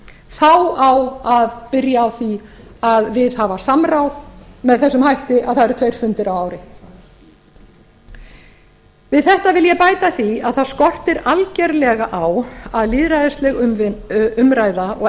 þá á að byrja á því að viðhafa samráð með þessum hætti að það eru tveir fundir á ári við þetta vil ég bæta því að það skortir algerlega á að lýðræðisleg umræða og